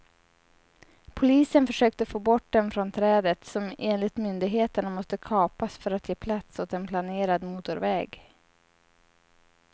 Polisen försökte få bort dem från trädet, som enligt myndigheterna måste kapas för att ge plats åt en planerad motorväg.